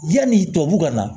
Yani tubabu ka na